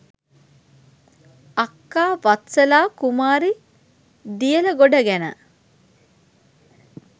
අක්කා වත්සලා කුමාරි දියලගොඩ ගැන